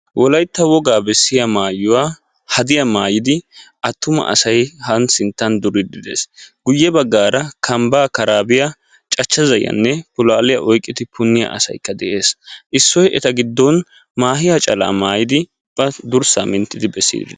Wolaytta woga bessiyaa maayuwa haddiyaa maayidi attuma asay ha sinttan duride de'ees. Guyye kambba, karabbiya, cachcha zayiyyanne pulaaliya oyqqidi puniyaa asaykka de'ees; issoy eta giddon maahiya calaa maayiddi ubba durssa minttide de'ees.